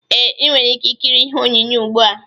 Ee, ị nwere ike ịkiri ihe onyonyo ugbua